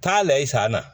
Taa layi sa na